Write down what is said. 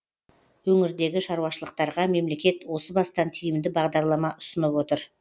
өңірдегі шаруашылықтарға мемлекет осы бастан тиімді бағдарлама ұсынып отыр